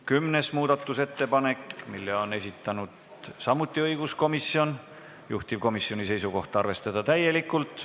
Kümnenda muudatusettepaneku on esitanud samuti õiguskomisjon, juhtivkomisjoni seisukoht: arvestada seda täielikult.